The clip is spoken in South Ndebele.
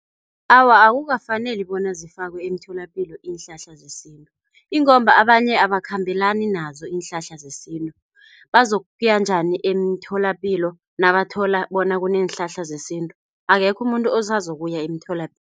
Awa, akukafaneli bona zifakwe emtholapilo iinhlahla zesintu ingomba abanye abakhambelani nazo iinhlahla zesintu, bazokuya njani emtholapilo nabathola bona kuneenhlahla zesintu, akekho umuntu osazokuya emtholapilo.